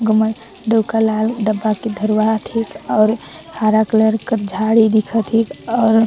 डोका ह लाल डब्बा के धरवात हिक और हरा कलर का झाड़ी दिखत हे और --